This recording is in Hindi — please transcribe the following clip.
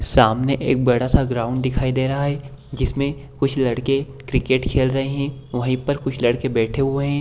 सामने एक बड़ा-सा ग्राउंड दिखाई दे रहा है जिसमें कुछ लड़के क्रिकेट खेल रहे हैं वहीं पर कुछ लड़के बैठे हुए हैं।